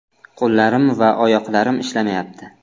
Qo‘llarim va oyoqlarim ishlamayapti.